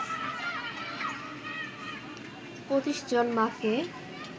২৫ জন মাকে